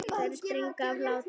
Þeir springa af hlátri.